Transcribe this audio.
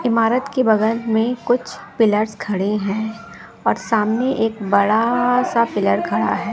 इमारत के बगल में कुछ पिलर्स खड़े हैं और सामने एक बड़ा सा पिलर खड़ा है।